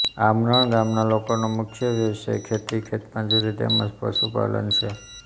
આમરણ ગામના લોકોનો મુખ્ય વ્યવસાય ખેતી ખેતમજૂરી તેમ જ પશુપાલન છે